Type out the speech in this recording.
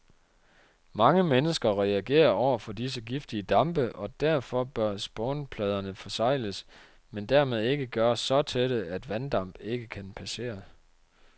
Mange mennesker reagerer over for disse giftige dampe, og derfor bør spånpladerne forsegles, men dermed ikke gøres så tætte, at vanddamp ikke kan passere.